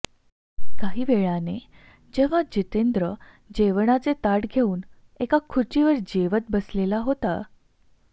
काही वेळाने जेव्हा जितेंद्र जेवणाचे ताट घेऊन एका खुर्चीवर जेवत बसलेला होता